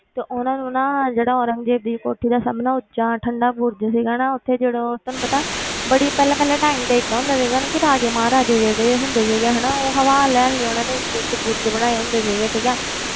ਤੇ ਉਹਨਾਂ ਨੂੰ ਨਾ ਜਿਹੜਾ ਔਰੰਗਜ਼ੇਬ ਦੀ ਕੋਠੀ ਦਾ ਸਭ ਨਾਲੋਂ ਉੱਚਾ ਠੰਢਾ ਬੁਰਜ਼ ਸੀਗਾ ਨਾ, ਉੱਥੇ ਜਦੋਂ ਤੁਹਾਨੂੰ ਪਤਾ ਬੜੀ ਪਹਿਲਾਂ ਪਹਿਲਾਂ time ਤੇ ਏਦਾਂ ਹੁੰਦਾ ਸੀਗਾ ਨਾ ਕਿ ਰਾਜੇ ਮਹਾਰਾਜੇ ਜਿਹੜੇ ਹੁੰਦੇ ਸੀਗੇ ਹਨਾ ਉਹ ਹਵਾ ਲੈਣ ਲਈ ਉਹਨਾਂ ਨੂੰ ਉੱਚੇ ਉੱਚੇ ਬੁਰਜ਼ ਬਣਾਏ ਹੁੰਦੇ ਸੀਗੇ ਠੀਕ ਹੈ